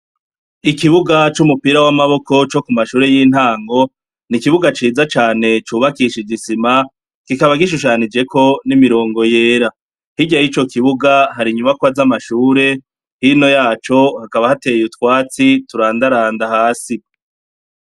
Ikibuga c' umupira w'amaboko co ku mashure y' intango, ni ikibuga ciza cane , cubakishije isima, kikaba gishushanijeko n' imirongo yera. Hirya yico kibuga, hari inyubakwa z' amashure, hino yaco, hakaba hateye utwatsi turandaranda hasi.